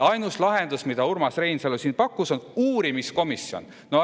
Ainus lahendus, mida Urmas Reinsalu pakkus, on uurimiskomisjon.